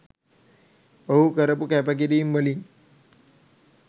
ඔහු කරපු කැපකිරීම් වලින්